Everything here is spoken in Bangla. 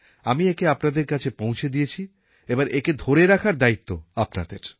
আমি একে আপনাদের কাছে পৌঁছে দিয়েছি এবার একে ধরে রাখার দায়িত্ব আপনাদের